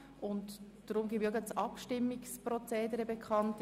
Sie werden diese annehmen oder ablehnen können.